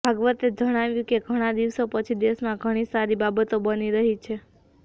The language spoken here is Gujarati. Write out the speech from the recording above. ભાગવતે જણાવ્યું કે ઘણા દિવસો પછી દેશમાં ઘણી સારી બાબતો બની રહી છે